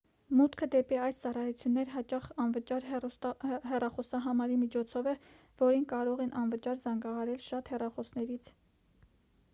մուտքը դեպի այս ծառայություններ հաճախ անվճար հեռախոսահամարի միջոցով է որին կարող են անվճար զանգահարել շատ հեռախոսներից